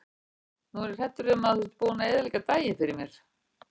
Nú er ég hræddur um að þú sért búinn að eyðileggja daginn fyrir mér.